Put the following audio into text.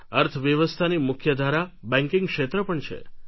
અર્થવ્યવસ્થાની મુખ્યધારા બેન્કીંગ ક્ષેત્ર પણ છે